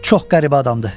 Çox qəribə adamdır.